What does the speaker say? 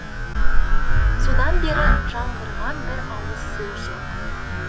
содан бері жаңғырған бір ауыз сөз жоқ